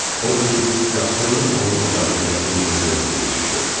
Odur ki, qaçqınlıq onun ocağına qəfil ildırım kimi düşdü.